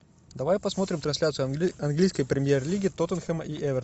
давай посмотрим трансляцию английской премьер лиги тоттенхэма и эвертона